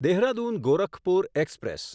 Dehradun Gorakhpur express